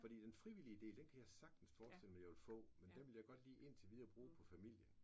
Fordi den frivillige del den kan jeg sagtens forestille mig jeg ville få men den ville jeg godt lige indtil videre bruge på familien